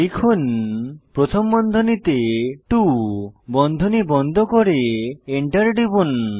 লিখুন প্রথম বন্ধনীতে 2 বন্ধনী বন্ধ করে এন্টার টিপুন